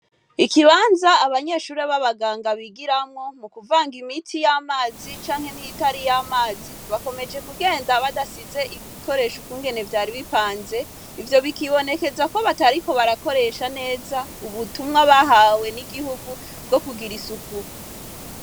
Abanyeshure baba ganga, bigiramwo mu kuvanga imiti y'amazi canke n'iyitariyamazi, bakomeje kugenda badasize ibikoresho ukungene vyari bipanze, ivyo biribonekeza ko batariko barakoresha neza ubutumwa bahawe n'igihugu bwo kugira isuku.